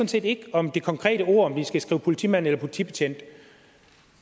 set ikke om det konkrete ord om vi skal skrive politimand eller politibetjent